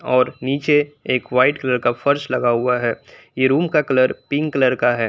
और नीचे एक व्हाइट कलर का फर्श लगा हुआ है ये रूम का कलर पिंक कलर का है।